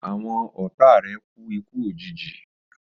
Àwọn ọ̀táa rè kù iku òjijì